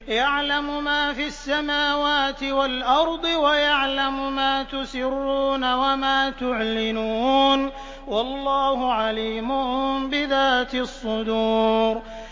يَعْلَمُ مَا فِي السَّمَاوَاتِ وَالْأَرْضِ وَيَعْلَمُ مَا تُسِرُّونَ وَمَا تُعْلِنُونَ ۚ وَاللَّهُ عَلِيمٌ بِذَاتِ الصُّدُورِ